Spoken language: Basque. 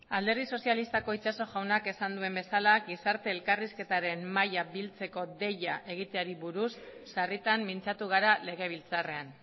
alderdi sozialistako itxaso jaunak esan duen bezala gizarte elkarrizketaren mahaia biltzeko deia egiteari buruz sarritan mintzatu gara legebiltzarrean